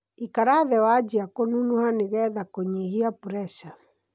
Ikara thĩ wanjia kũnunuha nĩgetha kũnyihia puresa.